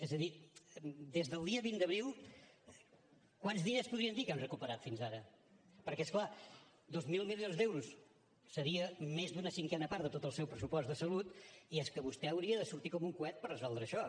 és a dir des del dia vint d’abril quants diners podríem dir que hem recuperat fins ara perquè és clar dos mil milions d’euros seria més d’una cinquena part de tot el seu pressupost de salut i és que vostè hauria de sortir com un coet per resoldre això